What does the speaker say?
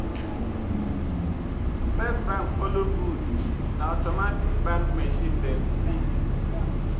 First bank follow good; na automatic bank machine dem be.